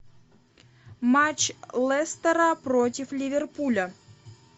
матч лестера против ливерпуля